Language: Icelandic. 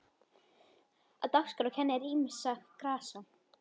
Á dagskrá kennir ýmissa grasa.